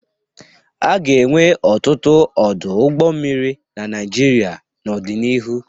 A ga-enwe ọtụtụ ọdụ ụgbọ mmiri na Naịjirịa n'ọdịnihu.